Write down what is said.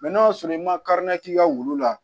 n'a sɔrɔ i ma k'i ka wulu la